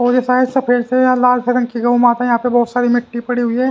और ये शायद सफेद से या लाल से रंग की गौ माता यहां पे बहुत सारी मिट्टी पड़ी हुई है।